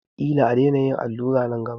Ƙila a daina yin allura nan gaba.